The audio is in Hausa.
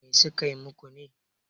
me suka yi muku ne?